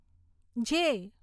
જે